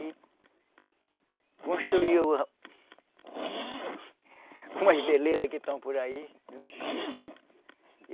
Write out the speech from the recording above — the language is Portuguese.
E construiu umas belezas que estão por aí, uns filhos.